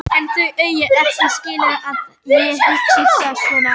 En þau eiga ekki skilið að ég hugsi svona.